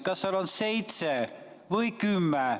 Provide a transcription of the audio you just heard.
Kas seitse või kümme?